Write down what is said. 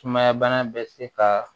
Sumaya bana bɛ se ka